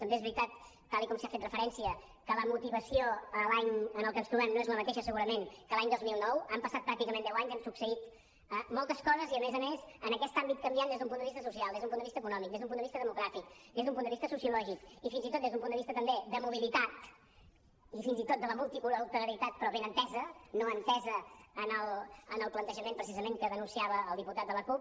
també és veritat tal com s’hi ha fet referència que la motivació l’any en el que ens trobem no és la mateixa segurament que l’any dos mil nou han passat pràcticament deu anys han succeït moltes coses i a més a més en aquest àmbit canviant des d’un punt de vista social des d’un punt de vista econòmic des d’un punt de vista demogràfic des d’un punt de vista sociològic i fins i tot des d’un punt de vista també de mobilitat i fins i tot de la multiculturalitat però ben entesa no entesa en el plantejament precisament que denunciava el diputat de la cup